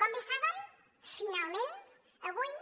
com bé saben finalment avui